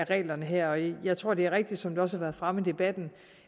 reglerne her jeg tror det er rigtigt som det også har været fremme i debatten